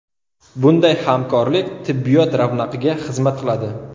Bunday hamkorlik tibbiyot ravnaqiga xizmat qiladi.